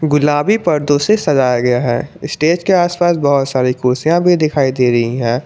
गुलाबी पर्दो से सजाया गया हैं स्टेज के आस पास बहुत सारी कुर्सियां भी दिखाई दे रही हैं।